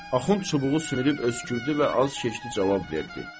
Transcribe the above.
Axund çubuğu sümürüb öskürdü və az keçdi cavab verdi: